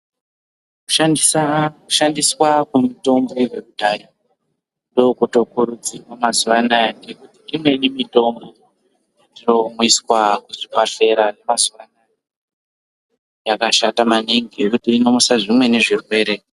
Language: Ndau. Kushandiswa kwemutombo yekudhaya ndookotokurudzirwa mazuvano ngekuti imweni mitombo yetinomwiswa kuzvibhehlera zvemazuvano yakashata maningi ngekuti inomusa zvimweni zvirwere.